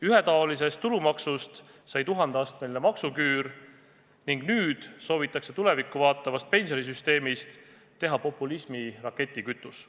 Ühetaolisest tulumaksust sai tuhandeastmeline maksuküür ning nüüd soovitakse tulevikku vaatavast pensionisüsteemist teha populismi raketikütus.